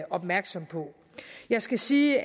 opmærksom på jeg skal sige